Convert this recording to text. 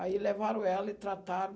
Aí levaram ela e trataram.